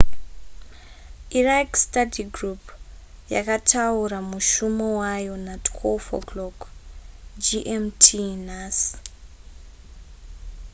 iraq study group yakataura mushumo wayo na12.00 gmt nhasi